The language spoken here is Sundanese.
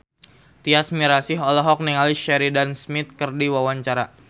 Tyas Mirasih olohok ningali Sheridan Smith keur diwawancara